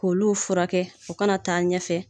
K'olu furakɛ o kana taa ɲɛfɛ.